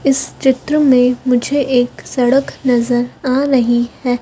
इस चित्र में मुझे एक सड़क नज़र आ रही है।